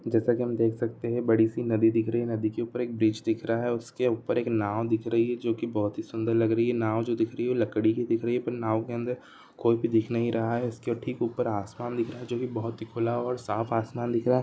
जैसा की हम देख सकते है बड़ी सी नदी दिख रही है नदी के ऊपर एक ब्रिज दिख रहा है उसके ऊपर एक नाव दिख रही है जो के बहुत ही सुन्दर लग रही है नाव जो दिख रही है लकड़ी की दिख रही है पर नाव के अंदर कोई भी दिख नहीं रहा है उसके ठीक ऊपर आसमान दिख रहा है जो कि बहुत ही खुला और साफ़ आसमान दिख रहा है।